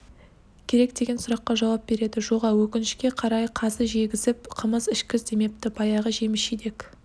керек деген сұраққа жауап береді жоға өкінішке қарай қазы жегізіп қымыз ішкіз демепті баяғы жеміс-жидек